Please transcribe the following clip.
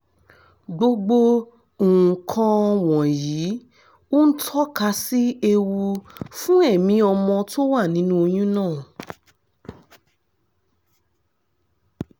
gbogbo nǹkan wọ̀nyìí ń tọ́ka sí ewu fún ẹ̀mí ọmọ tó wà nínú oyún náà